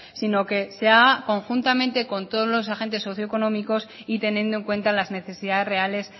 sino que se haga conjuntamente con todos los agentes socioeconómicos y teniendo en cuenta las necesidades reales